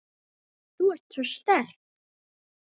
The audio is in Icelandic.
Þú ert svo sterk.